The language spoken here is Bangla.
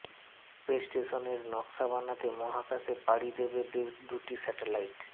স্পেস স্টেশনের নকশা বানাতে মহাকাশে পাড়ি দেবে দুটি স্যাটেলাইট